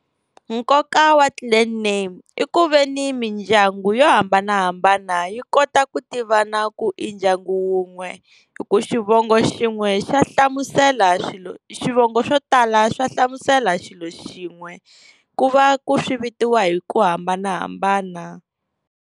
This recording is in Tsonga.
Nkoka wa clan name i ku veni mindyangu yo hambanahambana yi kota ku tivana ku i ndyangu wun'we, hi ku xivongo xin'we xa hlamusela swivongo swo tala swa hlamusela xilo xin'we ku va ku swi vitiwa hi ku hambanahambana.